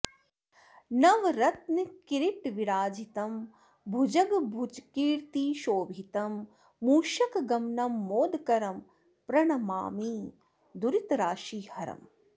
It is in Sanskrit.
नवरत्न किरीट विराजितं भुजग भुजकीर्ति शोभितं मूषकगमनं मोदकरं प्रणमामि दुरितराशिहरम्